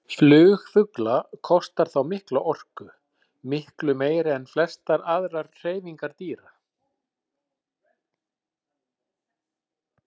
Flug fugla kostar þá mikla orku, miklu meiri en flestar aðrar hreyfingar dýra.